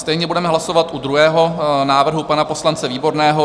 Stejně budeme hlasovat u druhého návrhu pana poslance Výborného.